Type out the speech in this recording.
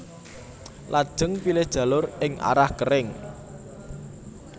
Lajeng pilih jalur ing arah kering